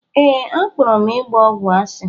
Ee, akpọrọ m ịgba ọgwụ asị.